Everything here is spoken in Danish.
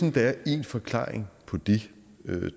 at der er én forklaring på det